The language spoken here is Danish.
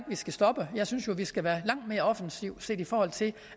vi skal stoppe jeg synes jo at vi skal være langt mere offensive set i forhold til